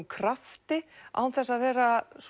krafti án þess að vera